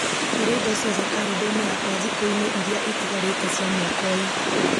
hura indo ciothe karenda-inĩ yakwa thikũ-inĩ iria itigarĩte cia mwaka ũyũ